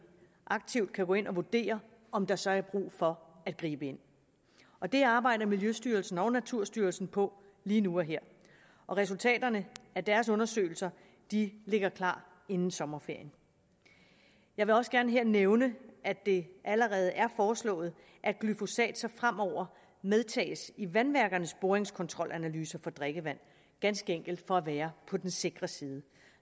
aktivt kan gå ind og vurdere om der så er brug for at gribe ind og det arbejder miljøstyrelsen og naturstyrelsen på lige nu og her og resultaterne af deres undersøgelser ligger klar inden sommerferien jeg vil også gerne her nævne at det allerede er foreslået at glyfosat så fremover medtages i vandværkernes boringskontrolanalyser for drikkevand ganske enkelt for at være på den sikre side